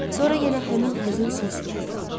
Sonra yenə həmin həzin səs gəldi.